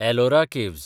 Ellora caves